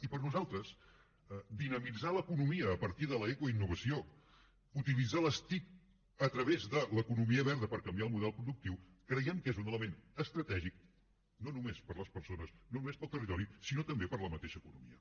i per nosaltres dinamitzar l’economia a partir de l’ecoinnovació utilitzar les tic a través de l’economia verda per canviar el model productiu creiem que és un element estratègic no només per a les persones no només per al territori sinó també per a la mateixa economia